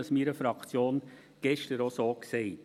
Das habe ich meiner Fraktion gestern auch so gesagt.